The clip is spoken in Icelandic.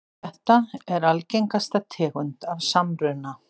Þetta er algengasta tegund af samruna.